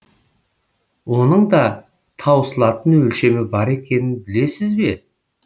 оның да таусылатын өлшемі бар екенін білесіз бе